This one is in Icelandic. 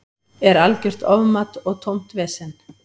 Er algjört ofmat og tómt vesen.